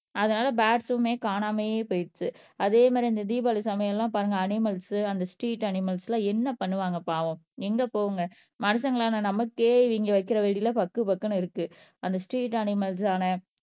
அதனால பேர்ட்ஸுமே காணாமயே போயிடுச்சு அதே மாதிரி இந்த தீபாவளி சமையெல்லாம் பாருங்க அனிமேல்ஸ் அந்த ஸ்ட்ரீட் அனிமேல்ஸ்லாம் என்ன பண்ணுவாங்க பாவம் எங்க போகும்ங்க மனுஷங்களான நமக்கே இவங்க வைக்கிற வெடியில பக்கு பக்குன்னு இருக்கு அந்த ஸ்ட்ரீட் அனிமேல்ஸ் ஆன